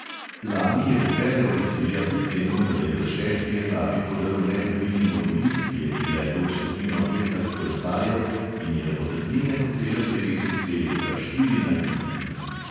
Lani je pripeljal do cilja kljub temu, da ga je v šesti etapi podrl neprevidni motorist, ki je priletel v skupino petnajst kolesarjev in je odrgnine po celem telesu celil kar štirinajst dni.